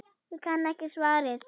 Ég kann ekki svarið.